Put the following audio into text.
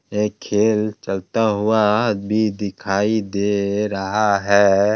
एक खेल चलता हुआ भी दिखाई दे रहा है।